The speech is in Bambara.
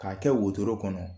K'a kɛ wotoro kɔnɔ